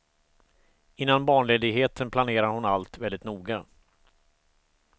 Innan barnledigheten planerade hon allt väldigt noga.